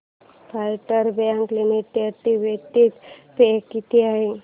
federal bank limited dividend pay किती आहे